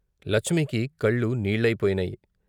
లచ్మికి కళ్ళు నీళ్ళయిపోయినాయి.